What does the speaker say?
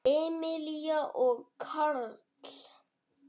Emilía og Karl.